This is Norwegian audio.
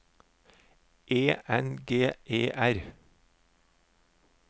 E N G E R